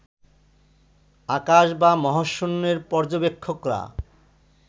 আকাশ বা মহাশূন্যের পর্যবেক্ষকরা